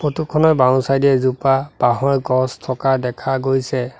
Photo খনৰ বাওঁ side এ এজোপা বাঁহৰ গছ থকা দেখা গৈছে।